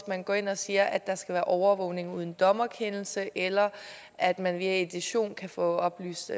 man går ind og siger at der skal være overvågning uden dommerkendelse eller at man via edition kan få oplyst